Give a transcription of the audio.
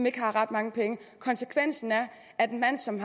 ikke har ret mange penge konsekvensen er at en mand som